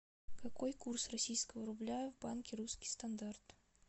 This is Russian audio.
какой курс российского рубля в банке русский стандарт